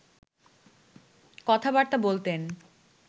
কথাবার্তা বলতেন